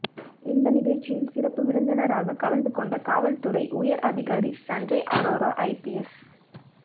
இந்த நிகழ்ச்சியில் சிறப்பு விருந்தினராக கலந்து கொண்ட காவல்துறை உயர் அதிகாரி சஞ்சய் ஆரோரா ஐபிஎஸ்